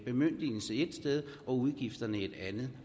bemyndigelsen et sted og udgifterne et andet